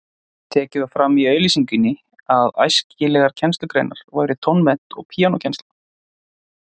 Tekið var fram í auglýsingunni að æskilegar kennslugreinar væru tónmennt og píanókennsla.